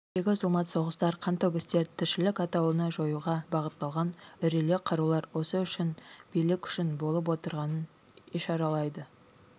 әлемдегі зұлмат соғыстар қантөгістер тіршілік атаулыны жоюға бағытталған үрейлі қарулар осы үшін билік үшін болып отырғанын ишаралайды